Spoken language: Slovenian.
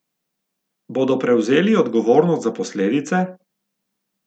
Bodo prevzeli odgovornost za posledice?